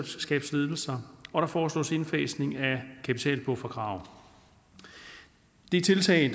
selskabsledelser og der foreslås indfasning af kapitalbufferkrav det er tiltag